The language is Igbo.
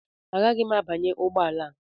Agaghị m abanye ụgbọ ala a